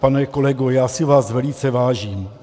Pane kolego, já si vás velice vážím.